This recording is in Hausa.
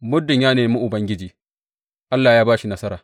Muddin ya nemi Ubangiji, Allah ya ba shi nasara.